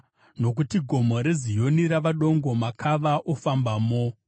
nokuti Gomo reZioni rava dongo, makava ofambamo.